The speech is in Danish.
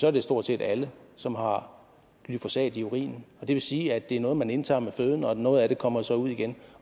er det stort set alle som har glyfosat i urinen det vil sige at det er noget man indtager med føden og noget af det kommer så ud igen